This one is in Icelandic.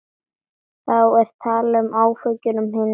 Þá er talað um efahyggju um hinn ytri heim.